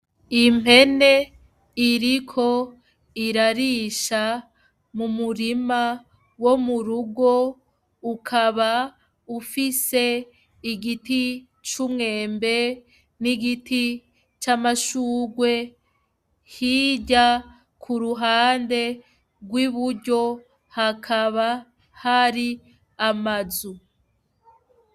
Impene iriko irarisha mu murima wo mu rugo ukaba ufise igiti c'umwembe n'igiti c'amashugwe hirya ku ruhande rw'ibue yo hakaba hari amazu.